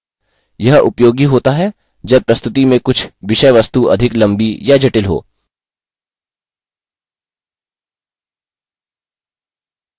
यह उपयोगी होता है जब प्रस्तुति में कुछ विषयवस्तु अधिक लम्बी या जटिल हो